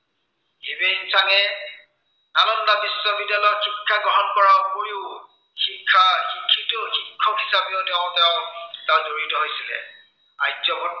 Hiuen চাঙে নালন্দা বিশ্ববিদ্য়ালয়ত শিক্ষা গ্ৰহণ কৰাৰ উপৰিও, শিক্ষা, শিক্ষিত শিক্ষক হিচাপেও তেওঁ তাত জড়িত হৈছিলে। আৰ্যভট্ট